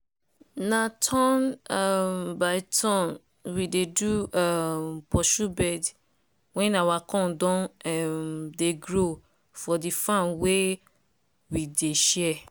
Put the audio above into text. na turn um by turn we dey do um pursue bird when our corn don um dey grow for di farm wey we dey share.